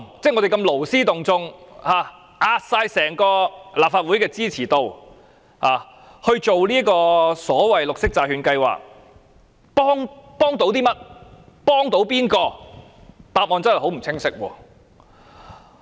這個勞師動眾的行動，押上整個立法會的支持度，以推行所謂的綠色債券計劃，幫助了甚麼？